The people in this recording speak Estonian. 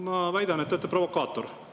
Ma väidan, et olete provokaator.